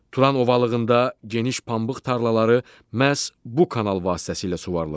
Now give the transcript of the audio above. Turan ovalığında geniş pambıq tarlaları məhz bu kanal vasitəsilə suvarılır.